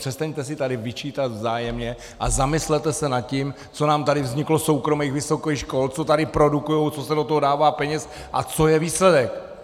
Přestaňte si tady vyčítat vzájemně a zamyslete se nad tím, co nám tady vzniklo soukromých vysokých škol, co tady produkují, co se do toho dává peněz a co je výsledek.